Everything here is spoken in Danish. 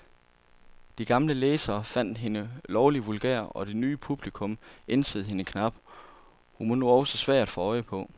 De gamle læsere fandt hende lovlig vulgær, og det nye publikum ænsede hende knap, hun var nu også svær at få øje på.